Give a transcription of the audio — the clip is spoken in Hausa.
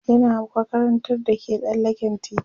yana makarantar da ke tsallaken titi